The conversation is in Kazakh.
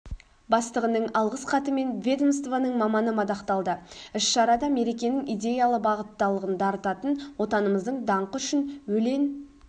бастығының алғыс хатымен ведомствоның маманы мадақталды іс-шарада мерекенің идеялы бағыттылығын дарытатын отанымыздың данқы үшін өлен